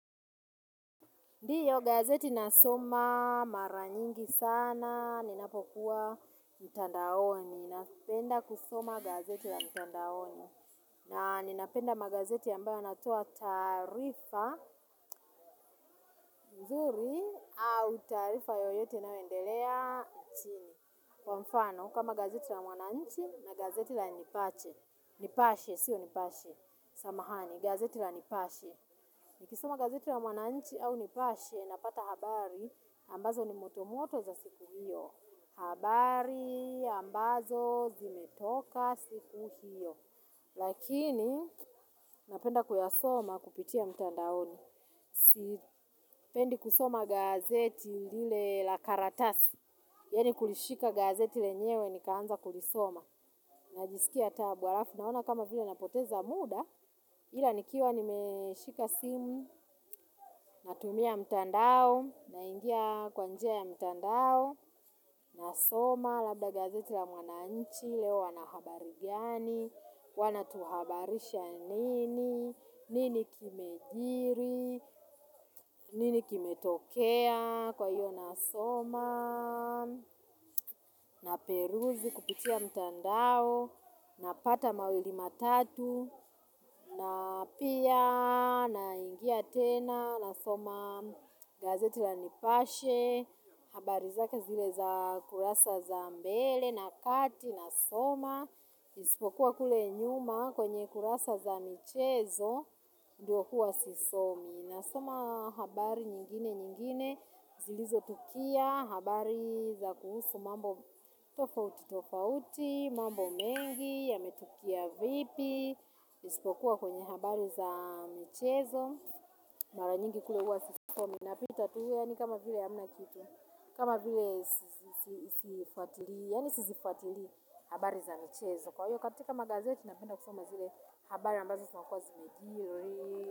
Ndiyo gazeti nasoma maranyingi sana, ninapokuwa mtandaoni, ninapenda kusoma gazeti la mtandaoni. Na ninapenda magazeti ambayo yanatoa taarifa mzuri au taarifa yoyote inayoendelea chini. Kwa mfano, kama gazeti la mwananchi na gazeti la nipache. Nipashe, siyo nipache. Samahani, gazeti la nipache. Nikisoma gazeti ya mwananchi au nipashe, napata habari, ambazo ni motomoto za siku hiyo. Habari, ambazo, zimetoka siku hiyo. Lakini, napenda kuyasoma kupitia mtandaoni. Sipendi kusoma gazeti lile la karatasi. Yeni kulishika gazeti lenyewe, nikaanza kulisoma. Najisikia tabu arafu, naona kama vile napoteza muda. Ila nikiwa nimeshika simu, natumia mtandao, naingia kwanjia ya mtandao, nasoma, labda gazeti la mwananchi, leo wanahabari gani, wanatuhabarisha nini, nini kimejiri, nini kime tokea kwa hiyo nasoma, na peruzi kupitia mtandao na pata mawili matatu na pia na ingia tena na soma gazeti la nipashe habari zake zile za kurasa za mbele na kati na soma isipokuwa kule nyuma kwenye kurasa za michezo ndio kuwa sisomi na soma habari nyingine nyingine. Zilizo tukia habari za kuhusu mambo tofauti tofauti. Mambo mengi ya metukia vipi. Ispokuwa kwenye habari za michezo. Mara nyingi kule huwa sisomi. Napita tu yani kama vile ya hamna kitu. Kama vile sifuatili ya ni sifuatili habari za michezo. Kwa hiyo katika magazeti na penda kusoma zile habari ambazo ziakua zimejiri.